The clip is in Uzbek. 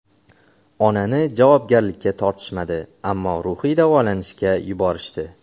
Onani javobgarlikka tortishmadi, ammo ruhiy davolanishga yuborishdi.